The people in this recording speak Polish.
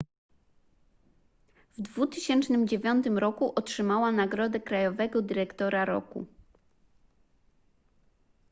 w 2009 roku otrzymała nagrodę krajowego dyrektora roku